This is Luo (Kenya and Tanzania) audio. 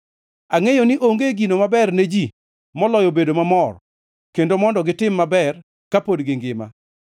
Angʼeyo ni onge gino maber ne ji moloyo bedo mamor kendo mondo gitim maber kapod gingima.